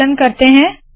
संकलन करते है